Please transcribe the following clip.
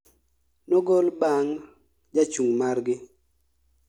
****nogol bang jachung margi